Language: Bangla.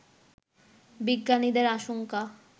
বিজ্ঞানীদের আশঙ্কা